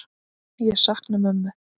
Ég sakna mömmu.